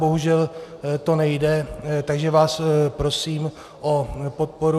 Bohužel to nejde, takže vás prosím o podporu.